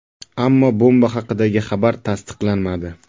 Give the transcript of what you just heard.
Ammo bomba haqidagi xabar tasdiqlanmadi.